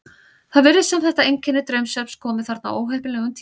Það virðist sem þetta einkenni draumsvefns komi þarna á óheppilegum tíma.